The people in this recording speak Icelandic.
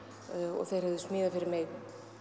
og þeir höfðu smíðað fyrir mig